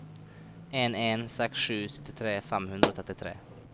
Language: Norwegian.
en en seks sju syttitre fem hundre og trettitre